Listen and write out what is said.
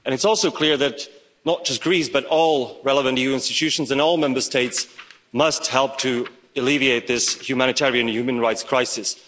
And it's also clear that not just Greece, but all relevant EU institutions and all Member States must help to alleviate this humanitarian human rights crisis.